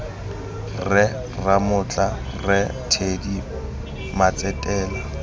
rre ramotla rre teddy matsetela